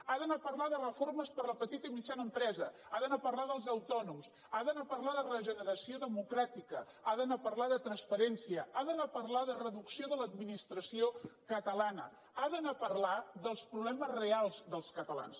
ha d’anar a parlar de reformes per a la petita i mitjana empresa ha d’anar a parlar dels autònoms ha d’anar a parlar de regeneració democràtica ha d’anar a parlar de transparència ha d’anar a parlar de reducció de l’administració catalana ha d’anar a parlar dels problemes reals dels catalans